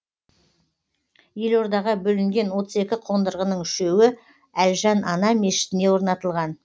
елордаға бөлінген отыз екі қондырғының үшеуі әлжан ана мешітіне орнатылған